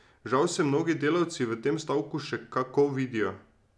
Žal se mnogi delavci v tem stavku še kako vidijo ...